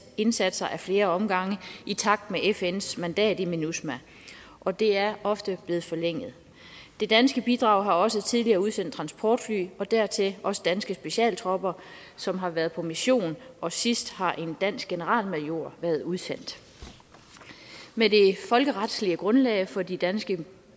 indsatser ad flere omgange i takt med fns mandat i minusma og det er ofte blevet forlænget det danske bidrag har også tidligere udsendt transportfly og dertil også danske specialtropper som har været på mission og sidst har en dansk generalmajor været udsendt med det folkeretslige grundlag for de danske